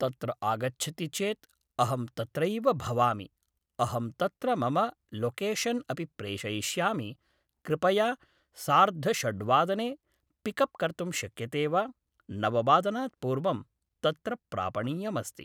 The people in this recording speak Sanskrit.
तत्र आगच्छति चेत् अहं तत्रैव भवामि अहं तत्र मम लोकेशन् अपि प्रेषयिष्यामि कृपया सार्धषड्वादने पिकप् कर्तुं शक्यते वा नववादनात् पूर्वं तत्र प्रापणीयमस्ति